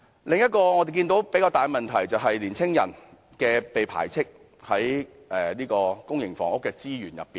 另一個我們看到的較大問題，就是青年人在爭取公營房屋的資源上被排斥。